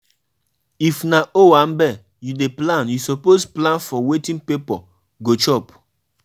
You no know say God dey accept different kind of sacrifice for old testament so no judge me